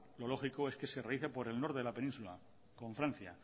lo lógico es que se realice por el norte de la península con francia